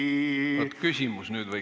Oot, küsimus võiks nüüd tulla.